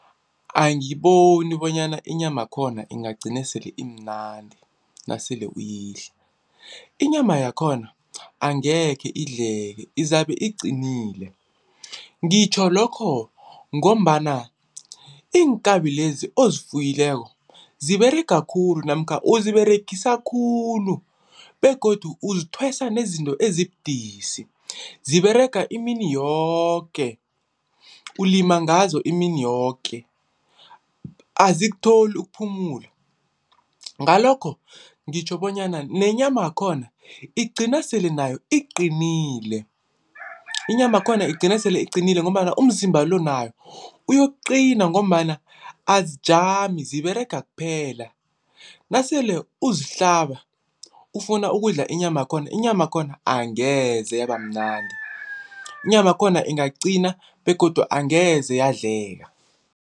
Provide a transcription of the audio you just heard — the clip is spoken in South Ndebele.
Angiboni bonyana inyamakhona ingagcina sele imnandi nasele uyidla. Inyama yakhona angekhe idleke izabe iqinile, ngitjho lokho ngombana iinkabi lezi ozifuyileko ziberega khulu namkha ukuziberegisa khulu begodu uzithwesa nezinto ezibudisi, ziberega imini yoke, ulima ngazo imini yoke azikutholi ukuphumula. Ngalokho ngitjho bonyana nenyamakhona igcina sele nayo iqinile inyamakhona igcina sele iqinile ngombana umzimba lo nawo uyokuqina ngombana azikajami ziberega kuphela, nasele uzihlaba ufuna ukudla inyama yakhona, inyamakhona angeze yabamnandi inyamakhona ingaqina begodu angeze yadleka.